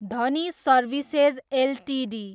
Dhani services Ltd